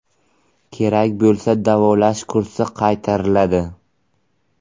Kerak bo‘lsa davolash kursi qaytariladi.